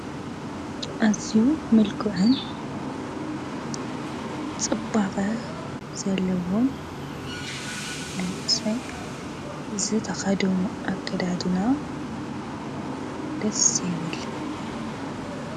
አዝዩ ምልኩዕን ፅባቀ ዘለዎን ዓይነት ሰብ እዚ ዝተከደኖ አከዳድና ደስ ይብል።